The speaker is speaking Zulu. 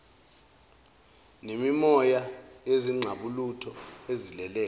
nemimoya yezingqalabutho ezilele